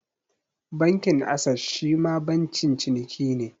Bankin Ases shima bankin ciniki ne.